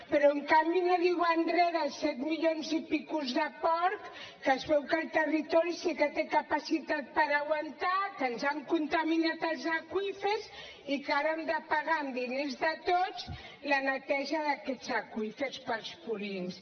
però en canvi no diuen res dels set milions i escaig de porcs que es veu que el territori sí que té capacitat per aguantar que ens han contaminat els aqüífers i que ara hem de pagar amb diners de tots la neteja d’aquests aqüífers pels purins